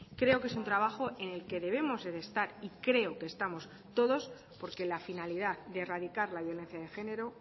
creo que es un trabajo en el que debemos estar y creo que estamos todos porque la finalidad de erradicar la violencia de género